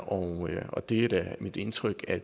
og og det er da mit indtryk at